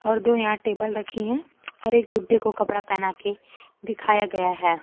और दो यहां टेबल रखीं हैं और एक गुड्डे को कपड़ा पहना के दिखाया गया है।